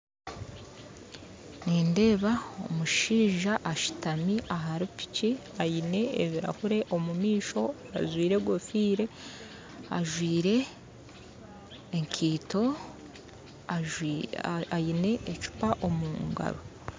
Nindeeba omushaija ashutami ahari piki aine ebirahure omumaisho ajwaire enkofiira ajwaire enkaito aine ecupa omungaro